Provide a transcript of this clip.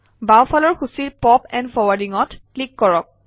বাওঁফালৰ সূচীৰ pop and Forwarding অত ক্লিক কৰক